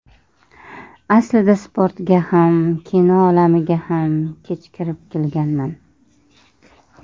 Aslida sportga ham, kino olamiga ham kech kirib kelganman.